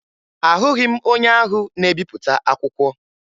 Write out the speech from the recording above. Ahụghị m onye ahụ na-ebipụta akwụkwọ